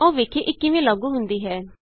ਆਉ ਵੇਖੀਏ ਇਹ ਕਿਵੇਂ ਲਾਗੂ ਹੁੰਦੀ ਹੈ